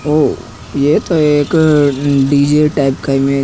ओ ये एक DJ type का इमेज --